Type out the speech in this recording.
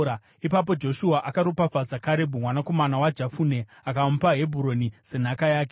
Ipapo Joshua akaropafadza Karebhu, mwanakomana waJefune akamupa Hebhuroni senhaka yake.